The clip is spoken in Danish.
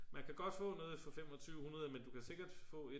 man kan godt få noget for 2500 men du kan sikkert få et